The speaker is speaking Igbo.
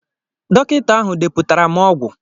Dọkịta ahụ deputara m ọgwụ.